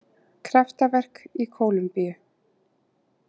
Kraftaverk í Kólumbíu